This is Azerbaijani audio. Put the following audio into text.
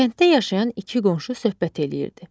Kənddə yaşayan iki qonşu söhbət eləyirdi.